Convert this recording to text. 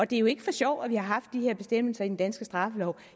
det er jo ikke for sjov at vi har haft de her bestemmelser i den danske straffelov